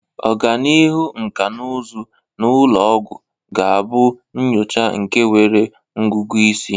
Ọganihu nkà na ụzụ na ụlọ ọgwụ ga-abụ nyocha nke nwere ọgụgụ isi.